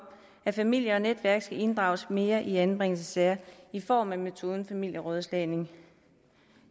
at familie og netværk skal inddrages mere i anbringelsessager i form af metoden familierådslagning